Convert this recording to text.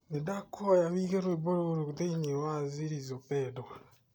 nĩndakũhoya ũige rwĩmbo rũu thĩinĩ wa zilizo pendwa